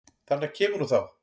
Þarna kemur hún þá!